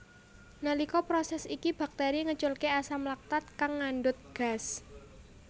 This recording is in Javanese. Nalika proses iki bakteri ngeculke asam laktat kang ngandhut gas